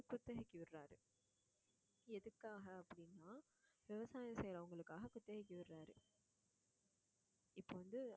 குத்தகைக்கு விடுறாரு எதுக்காக அப்படினா விவசாயம் செய்றவங்களுக்காக குத்தகைக்கு விடுறாரு. இப்ப வந்து